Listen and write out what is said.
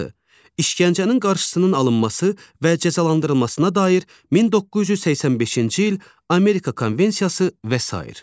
İşkəncənin qarşısının alınması və cəzalandırılmasına dair 1985-ci il Amerika Konvensiyası və sair.